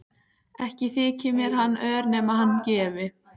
Ekki þyki mér hann ör nema hann gefi.